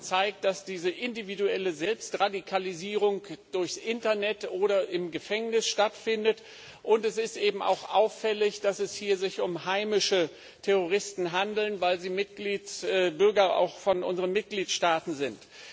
Sie haben gezeigt, dass diese individuelle Selbstradikalisierung durchs Internet oder im Gefängnis stattfindet, und es ist eben auch auffällig, dass es sich hier um heimische Terroristen handelt, weil sie auch Bürger unserer Mitgliedstaaten sind.